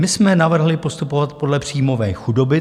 My jsme navrhli postupovat podle příjmové chudoby.